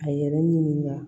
A yɛrɛ ɲininka